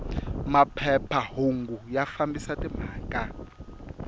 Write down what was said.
maphepha hungu ya fambisa timhaka